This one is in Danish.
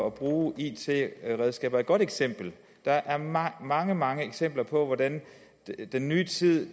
at bruge it redskaber et godt eksempel der er mange mange mange eksempler på hvordan den nye tid